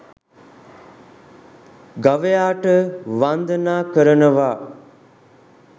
ගවයාට වන්දනා කරනවා